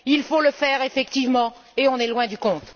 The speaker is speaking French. Il faut le faire effectivement et on est loin du compte.